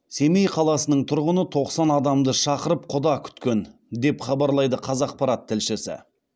семей қаласының тұрғыны тоқсан адамды шақырып құда күткен деп хабарлайды қазақпарат тілшісі